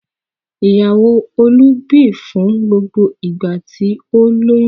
Ìyàwó Olú bì fún gbogbo ìgbà tí ó lóyún.